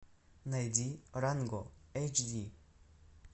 найди ранго эйч ди